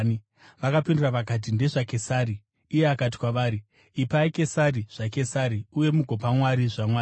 Vakapindura vakati, “NdezvaKesari.” Iye akati kwavari, “Ipai Kesari zvaKesari uye mugopa Mwari zvaMwari.”